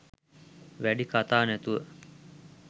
වැඩි කතා නැතුව